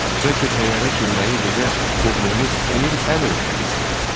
Bəlkə təyyarə sürməyi bizə qohumumuz Emil əm öyrədib.